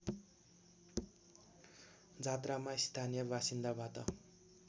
जात्रामा स्थानीय बासिन्दाबाट